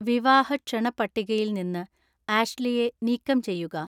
വിവാഹ ക്ഷണ പട്ടികയിൽ നിന്ന് ആഷ്ലിയെ നീക്കം ചെയ്യുക